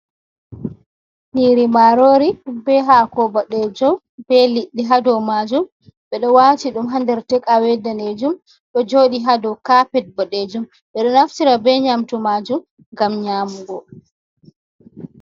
Nyiri marori, be hako bodejum be liɗɗi hado majum bedo wati dum ha under tek awe danejum do joɗi ha dou kapet boɗejum ɓeɗo naftira be nyamtu majum ngam nyamugo.